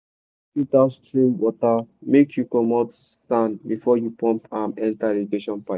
dey always filter stream water make you comot sand before you pump am enter irrigation pipe.